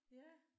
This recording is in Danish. Ja